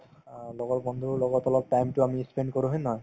অ, লগৰ বন্ধুৰ লগত অলপ time তো আমি ই spent কৰো হয় নে নহয়